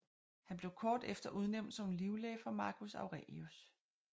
Han blev kort efter udnævnt som livlæge for Marcus Aurelius